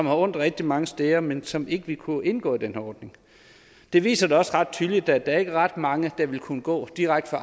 har ondt rigtig mange steder men som ikke vil kunne indgå i den her ordning det viser da også ret tydeligt at der ikke er ret mange der ville kunne gå direkte